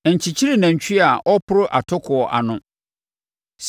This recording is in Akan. Nkyekyere nantwie a ɔreporo atokoɔ ano.